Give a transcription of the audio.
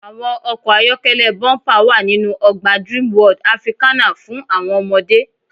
Àwọn ọkọ̀ ayọ́kẹ́lẹ́ bọ́ḿpà wa ninu ọgbà Dreamworld Africana fún àwọn ọmọdé.